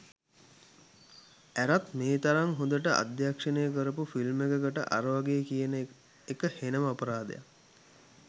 ඇරත් මේ තරම් හොඳට අධ්‍යක්ෂණය කරපු ෆිල්ම් එකකට අරවගේ කියන එක හෙනම අපරාදයක්